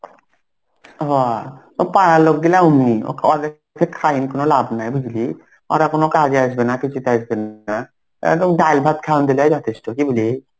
হ ও পাড়ার লোকগুলা অমনি. ওকে খাইয়েন কোন লাভ নাই বুঝলি. ওরা কোন কাজে আসবে না কিছুতে আসবেন না. একদম ডাল ভাত খাওয়ান দিলেই যথেষ্ট. কি বলিস?